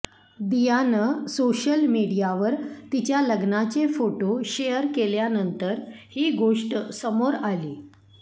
दियानं social मीडियावर तिच्या लग्नाचे फोटो शेअर केल्यानंतर ही गोष्ट समोर आली